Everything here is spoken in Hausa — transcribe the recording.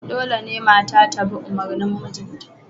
Dole ne mata ta bi umarnin mijinta